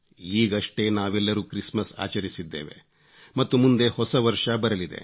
ಈಗಷ್ಟೇ ನಾವೆಲ್ಲರೂ ಕ್ರಿಸ್ಮಸ್ ಆಚರಿಸಿದ್ದೇವೆ ಮತ್ತು ಮುಂದೆ ಹೊಸ ವರ್ಷ ಬರಲಿದೆ